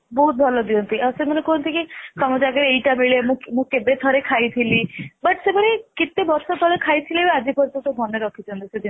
ବହୁତ ଭଲ ଦିଅନ୍ତି ଆଉ ସେମାନେ କୁହନ୍ତି କି ତମ ଜାଗା ଏଇଟା ମିଳେ ମୁଁ ମୁଁ କେବେ ଥରେ ଖାଇଥିଲି but ସେମାନେ କେତେ ବର୍ଷ ତଳେ ଖାଇଥିଲେ ଆଜି ପର୍ଯ୍ୟନ୍ତ ମାନେ ରଖିଛନ୍ତି